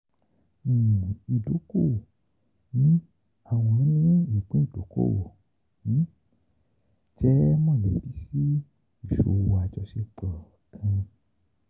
um Idoko-owo ni awọn ni ipin idokowo um jẹ molebi si iṣowo ajọṣepọ um kan.